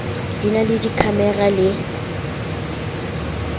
di na le dikhamera le